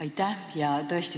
Aitäh!